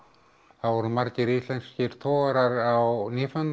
þá voru margir íslenskir togarar á